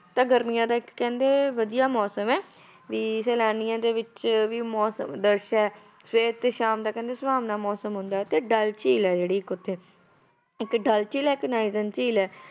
ਤਾਂ ਗਰਮੀਆਂ ਦਾ ਇੱਕ ਕਹਿੰਦੇ ਵਧੀਆ ਮੌਸਮ ਹੈ, ਵੀ ਸੈਲਾਨੀਆਂ ਦੇ ਵਿੱਚ ਵੀ ਮੌਸਮ ਹੈ, ਸਵੇਰ ਤੇ ਸ਼ਾਮ ਦਾ ਕਹਿੰਦੇ ਸੁਹਾਵਣਾ ਮੌਸਮ ਹੁੰਦਾ ਹੈ ਤੇ ਡੱਲ ਝੀਲ ਹੈ ਜਿਹੜੀ ਇੱਕ ਉੱਥੇ, ਇੱਕ ਡੱਲ ਝੀਲ ਹੈ ਇੱਕ ਨਾਇਰਨ ਝੀਲ ਹੈ